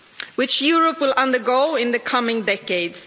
which Europe will undergo in the coming decades.